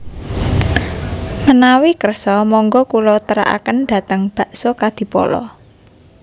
Menawi kersa monggo kulo teraken dateng Bakso Kadipolo